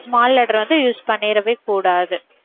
small letter வந்து use பண்ணிடவே கூடாது